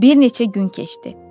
Bir neçə gün keçdi.